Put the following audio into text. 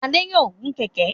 Adé yòó gun kẹ̀ẹ̀kẹ́.